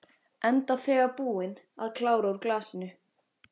Enda þegar búin að klára úr glasinu.